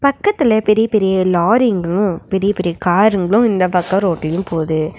பக்கத்துல பெரிய பெரிய லாரிங்ளு பெரிய பெரிய காருங்ளு இந்த பக்கொ ரோடிலும் போது.